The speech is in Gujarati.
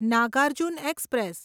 નાગાર્જુન એક્સપ્રેસ